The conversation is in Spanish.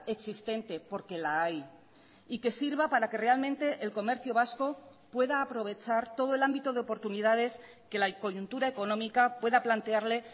existente porque la hay y que sirva para que realmente el comercio vasco pueda aprovechar todo el ámbito de oportunidades que la coyuntura económica pueda plantearle